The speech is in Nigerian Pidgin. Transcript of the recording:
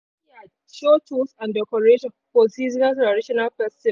the open yard show tools and decoration for seasonal traditional festivals.